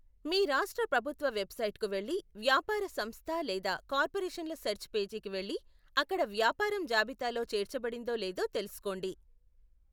మీ రాష్ట్ర ప్రభుత్వ వెబ్సైట్కు వెళ్లి వ్యాపార సంస్థ లేదా కార్పొరేషన్ల సెర్చ్ పేజీకి వెళ్లి అక్కడ వ్యాపారం జాబితాలో చేర్చబడిందో లేదో తెలుసుకోండి.